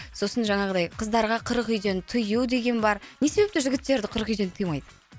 сосын жаңағыдай қыздарға қырық үйден тыю деген бар не себептен жігіттерді қырық үйден тыймайды